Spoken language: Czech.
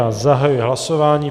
Já zahajuji hlasování.